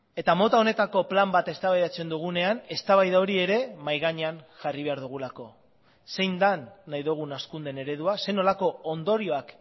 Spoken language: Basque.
eta mota honetako plan bat eztabaidatzen dugunean eztabaida hori ere mahai gainean jarri behar dugulako zein den nahi dugun hazkundeen eredua zer nolako ondorioak